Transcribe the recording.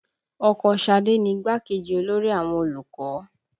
Ọkọ Ṣadé ni igbákejì olórí àwọn olùkọ́